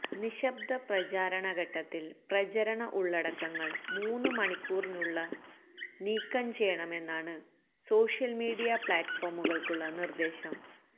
നിശബ്ദ പ്രചാരണ ഘട്ടത്തില് പ്രചരണ ഉള്ളടക്കങ്ങള് മൂന്ന് മണിക്കൂറിനുള്ള നീക്കം ചെയ്യണമെന്നാണ് സോഷ്യല് മീഡിയ പ്ലാറ്റ്ഫോമുകള്ക്കുള്ള നിര്ദേശം